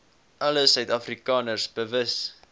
alle suidafrikaners bewus